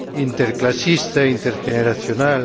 interclasista, intergeneracional.